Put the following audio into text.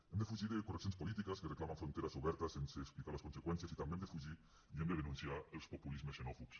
hem de fugir de correccions polítiques que reclamen fronteres obertes sense explicar ne les conseqüències i també hem de fugir i hem de denunciar els populismes xenòfobs